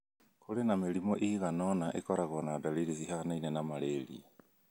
Kũrĩ na mĩrimũ ĩigana ũna ĩkoragwo na ndariri cihanaine na malaria.